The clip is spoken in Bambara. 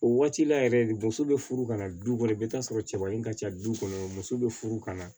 O waati la yɛrɛ de muso bɛ furu ka na du kɔnɔ i bɛ taa sɔrɔ cɛba in ka ca du kɔnɔ muso be furu ka na